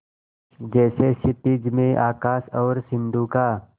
जैसे क्षितिज में आकाश और सिंधु का